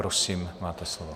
Prosím, máte slovo.